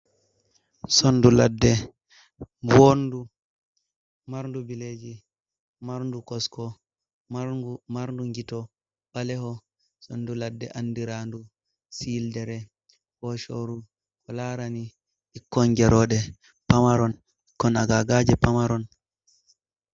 Sondu ladde bondu, marndu bile ji, marndu kosko, marndu gito ɓaleho, sondu ladde andirandu sildere foshoru ko larani ɓikkon geroɗe pamaron, ɓikkon agagaje pamaron.